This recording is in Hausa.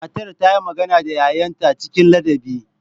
Matar ta yi magana da 'ya'yanta cikin ladabi.